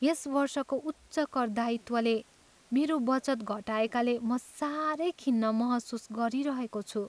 यस वर्षको उच्च कर दायित्वले मेरो बचत घटाएकाले म साह्रै खिन्न महसुस गरिरहेको छु।